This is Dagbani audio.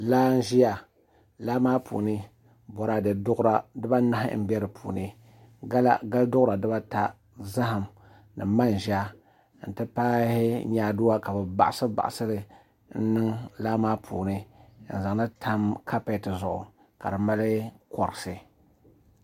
Laa n ʒiya laa maa puuni boraadɛ duɣura dibanahi n bɛ di puuni gali duɣura dibata zaham ni manʒa n ti pahi nyaaduwa ka bi baɣasi baɣasili n niŋ laa maa puuni n zaŋli tam kapɛt zuɣu ka di mali korisi